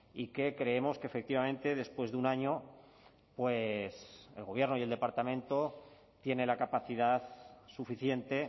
y que creemos que efectivamente después de un año pues el gobierno y el departamento tiene la capacidad suficiente